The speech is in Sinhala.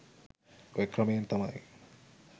ඔය ක්‍රමයෙන් තමයි